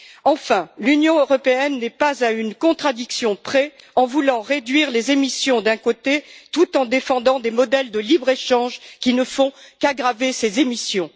Enfin, l'Union européenne n'est pas à une contradiction près en voulant réduire les émissions d'un côté, tout en défendant, de l'autre, des modèles de libre échange qui ne font qu'aggraver ces émissions.